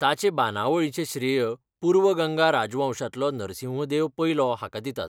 ताचे बांदावळीचें श्रेय पूर्व गंगा राजवंशांतलो नरसिंहदेव पयलो हाका दितात.